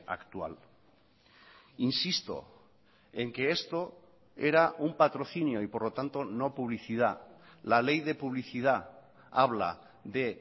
actual insisto en que esto era un patrocinio y por lo tanto no publicidad la ley de publicidad habla de